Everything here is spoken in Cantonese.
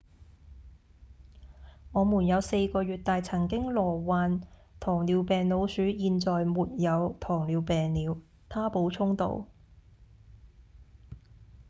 「我們有4個月大曾經罹患糖尿病老鼠現在沒有糖尿病了」他補充道